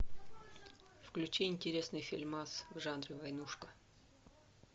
включи интересный фильмас в жанре войнушка